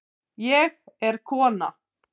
Ég er kona